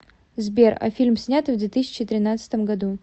сбер а фильм снятый в две тысячи тринадцатом году